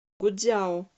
гуцзяо